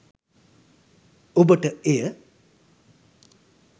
ඔබට එය